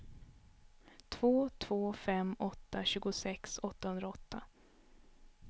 två två fem åtta tjugosex åttahundraåtta